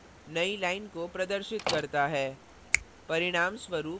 backslash n \n नई line को प्रदर्शित करता है